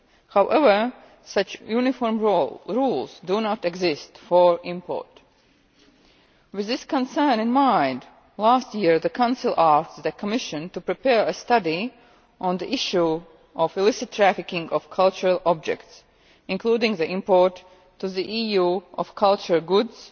However, such uniform rules do not exist for import. With this concern in mind, last year the Council asked the Commission to prepare a study on the issue of illicit trafficking of cultural objects, including the import to the EU of cultural goods